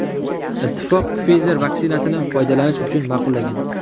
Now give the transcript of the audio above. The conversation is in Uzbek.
Ittifoq Pfizer vaksinasini foydalanish uchun ma’qullagan .